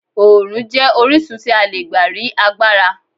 Oòrùn jẹ́ orísun tí a lè gbà rí agbára.